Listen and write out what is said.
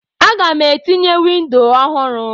Aga m etinye windo ọhụrụ.